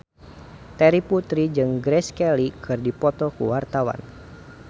Terry Putri jeung Grace Kelly keur dipoto ku wartawan